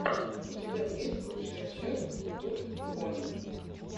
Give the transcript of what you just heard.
у тебя есть лучшая часть турд пони